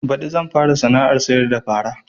Baɗi zan fara sana'ar sayar da fara